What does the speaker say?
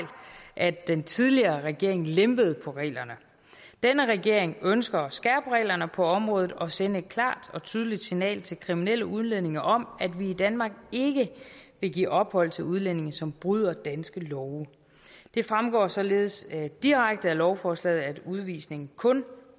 at den tidligere regering lempede på reglerne denne regering ønsker at skærpe reglerne på området og sende et klart og tydeligt signal til kriminelle udlændinge om at vi i danmark ikke vil give ophold til udlændinge som bryder danske love det fremgår således direkte af lovforslaget at udvisning kun